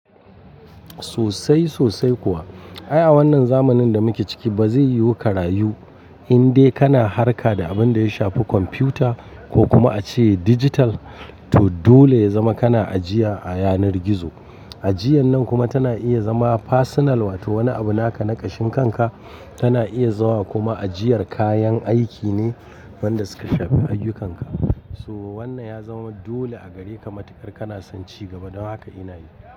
Sosai sosai kuwa. Ai a wannan zamanin da muke ciki ba zai yiwu ka rayu indai kana harka da abin da ya shafi kwamfuta ko kuma a ce dijital to dole ya zama kana ajiya a yanar gizo. Ajiyan nan kuma tana iya zama fasinal wato wani abu naka na kashin kanka tana iya zawa kuma ajiyar kayan aiki ne wadanda suka shafi ayyukanka. So wannan ya zama dole a gare ka matukar kana son ci gaba don haka ina yi.